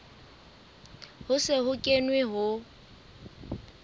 ho se ho kenwe ho